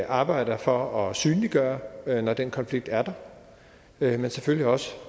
arbejder for at synliggøre det når den konflikt er der men selvfølgelig også